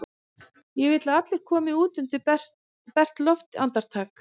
Ég vil að allir komi út undir bert loft í andartak!